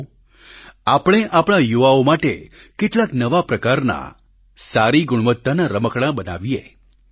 આવો આપણે આપણા યુવાઓ માટે કેટલાક નવા પ્રકારના સારી ગુણવત્તાવાળા રમકડાં બનાવીએ